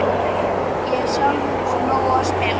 Ég hef sjálfur úr nógu að spila.